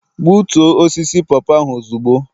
Gbutoo osisi popo ahu ozugbo!